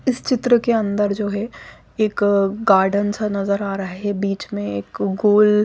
इस चित्र के अंदर जो है एक गार्डन सा नजर आ रहा हैं बीच में एक गोल --